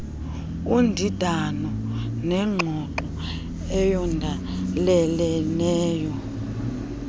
undindano nengxoxo eyondeleleneyo